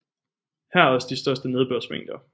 Her er også de største nedbørsmængder